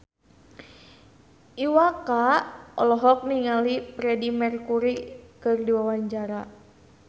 Iwa K olohok ningali Freedie Mercury keur diwawancara